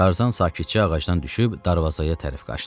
Tarzan sakitcə ağacdan düşüb darvazaya tərəf qaçdı.